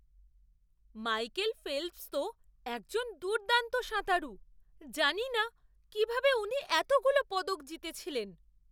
Michael Phelps তো একজন দুর্দান্ত সাঁতারু। জানি না কীভাবে উনি এতগুলো পদক জিতেছিলেন!